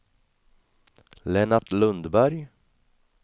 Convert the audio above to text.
Lennart Lundberg